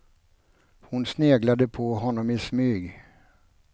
Hon sneglade på honom i smyg.